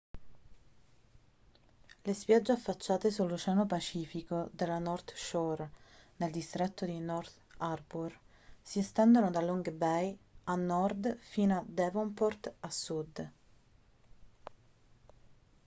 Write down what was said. le spiagge affacciate sull'oceano pacifico della north shore nel distretto di north harbour si estendono da long bay a nord fino a devonport a sud